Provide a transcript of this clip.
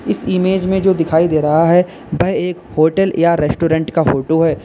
इस इमेज में जो दिखाई दे रहा है वह एक होटल या रेस्टोरेंट का फोटो है।